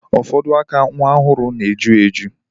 Ufodu aka nwa ohuru na-eju eju.